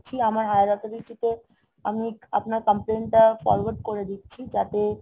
আমার higher authority তে আমি আপনার complain টা forward করে দিচ্ছি যাতে